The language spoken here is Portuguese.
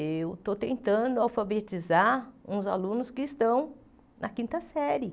Eu estou tentando alfabetizar uns alunos que estão na quinta série.